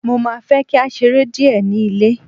mo ma fe ki a sere Die ni ilé